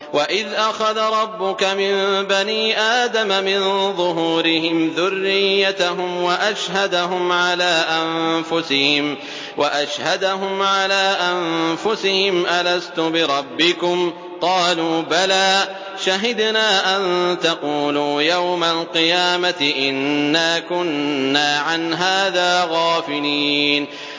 وَإِذْ أَخَذَ رَبُّكَ مِن بَنِي آدَمَ مِن ظُهُورِهِمْ ذُرِّيَّتَهُمْ وَأَشْهَدَهُمْ عَلَىٰ أَنفُسِهِمْ أَلَسْتُ بِرَبِّكُمْ ۖ قَالُوا بَلَىٰ ۛ شَهِدْنَا ۛ أَن تَقُولُوا يَوْمَ الْقِيَامَةِ إِنَّا كُنَّا عَنْ هَٰذَا غَافِلِينَ